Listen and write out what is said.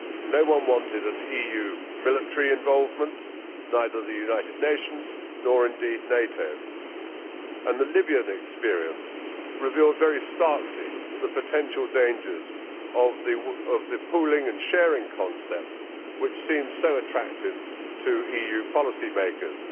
No one wanted an EU military involvement neither the United Nations, nor indeed NATO and the Libyan experience revealed very starkly the potential dangers of the pooling and sharing concept, which seemed so attractive to EU policymakers.